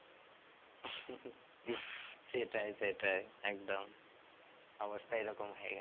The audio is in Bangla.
সেটাই সেটাই একদম অবস্থা এই রকম হয়ে গেছে